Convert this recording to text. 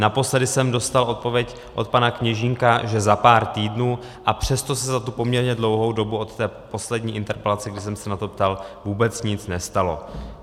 Naposledy jsem dostal odpověď od pana Kněžínka, že za pár týdnů, a přesto se za tu poměrně dlouhou dobu od té poslední interpelace, kdy jsem se na to ptal, vůbec nic nestalo.